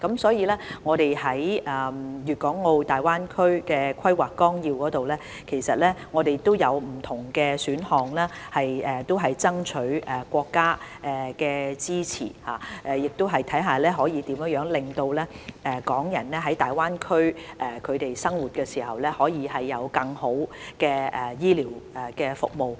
所以，在《粵港澳大灣區發展規劃綱要》中，我們提供了不同的選項以爭取國家支持，亦希望看看怎樣可以令港人在大灣區生活時，得到更好的醫療服務。